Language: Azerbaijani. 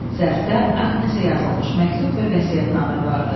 Zərfdə Agnesə yazılmış məktub və vəsiyyətnamə vardı.